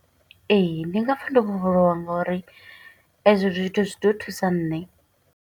Ee, ndi nga pfa ndi fholowa ngo uri e zwo zwithu zwi ḓo thusa nṋe.